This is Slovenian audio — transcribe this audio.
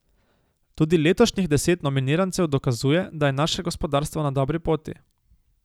Tudi letošnjih deset nominirancev dokazuje, da je naše gospodarstvo na dobri poti.